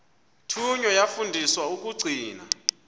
thunywa yafundiswa ukugcina